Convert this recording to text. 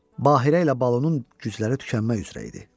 Bahirə ilə Balunun gücləri tükənmək üzrə idi.